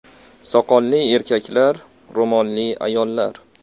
Soqolli erkaklar, ro‘molli ayollar.